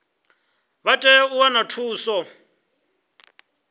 vha tea u wana thuso